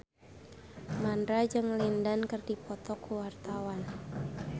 Mandra jeung Lin Dan keur dipoto ku wartawan